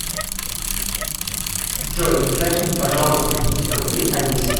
джой закинь пожалуйста триста рублей олесе